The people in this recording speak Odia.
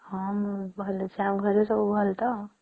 ହଁ ମୁ ଭଲ ଅଛେ ଆଉ ଘରେ ସବୁ ଭଲ ତା